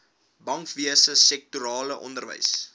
bankwese sektorale onderwys